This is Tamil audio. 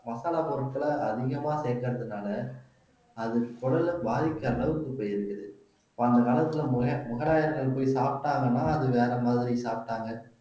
மசாலா பொருட்களை அதிகமா சேர்க்கிறதுனால அது குடலை பாதிக்கிற அளவுக்கு போயிருக்குது இப்ப அந்த காலத்துல முகலாயர்கள் போய் சாப்பிட்டாங்கன்னா அது வேற மாதிரி சாப்பிட்டாங்க